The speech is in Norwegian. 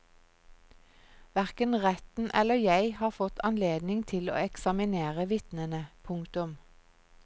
Hverken retten eller jeg har fått anledning til å eksaminere vitnene. punktum